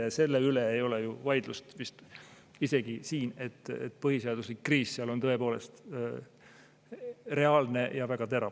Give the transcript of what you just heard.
Ja selle üle ju siin vist vaidlust ei ole, et põhiseaduslikkuse kriis seal on praegu tõepoolest reaalne ja väga terav.